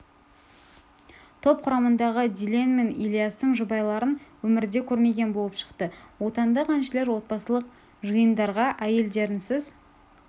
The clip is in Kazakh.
топ құрамындағы дильен мен ильястың жұбайларын өмірде көрмеген болып шықты отандық әншілер отбасылық жиындарға әйелдерінсіз